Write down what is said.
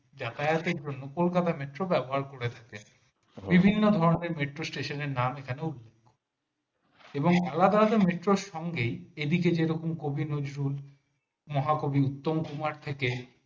যাতায়াতের জন্য কলকাতা metro ব্যবহার করেছেন বিভিন্ন ধরনের station নের নাম এখানে উল্লেখ্য এবং আলাদা metro সঙ্গে এদিকে যেমন কবি নজরুল মহাকবি উত্তম কুমার থেকে